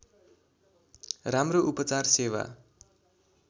राम्रो उपचार सेवा